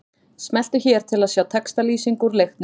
Smelltu hér til að sjá textalýsingu úr leiknum